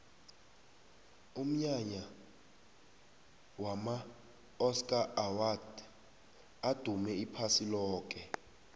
umnyanya wama oscar awards udume iphasi loke